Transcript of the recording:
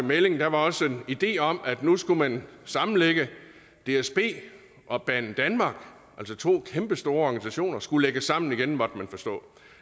melding var der også en idé om at nu skulle man sammenlægge dsb og banedanmark altså to kæmpestore organisationer skulle lægges sammen igen måtte man forstå